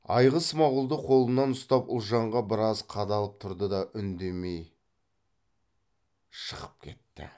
айғыз смағұлды қолынан ұстап ұлжанға біраз қадалып тұрды да үндемей шығып кетті